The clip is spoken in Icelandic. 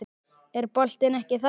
Er boltinn ekki þarna?